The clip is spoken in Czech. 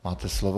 Máte slovo.